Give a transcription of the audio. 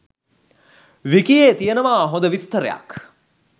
විකියේ තියෙනවා හොඳ විස්තරයක්.